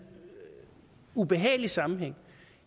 ubehagelig sammenhæng